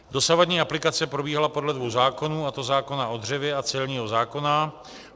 Dosavadní aplikace probíhala podle dvou zákonů, a to zákona o dřevě a celního zákona.